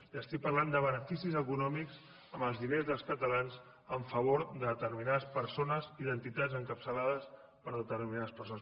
li estic parlant de beneficis econòmics amb els diners dels catalans a favor de determinades persones i d’entitats encapçalades per determinades persones